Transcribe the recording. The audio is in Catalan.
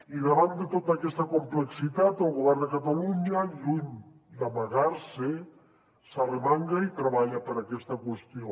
i davant de tota aquesta complexitat el govern de catalunya lluny d’amagar se s’arremanga i treballa per aquesta qüestió